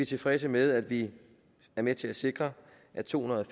tilfredse med at vi er med til at sikre at tohundrede